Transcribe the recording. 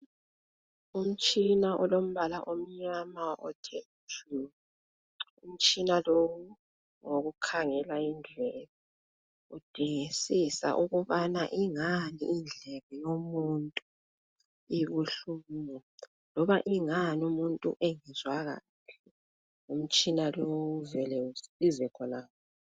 Umtshina olombala omnyama othe tshu! Umtshina lo ngowokukhangela indlebe, udingisisa ukubana ingani indlebe yomuntu ibuhlungu? Loba ingani umuntu engezwa kahle? Umtshina lo, uvela usize khonapho.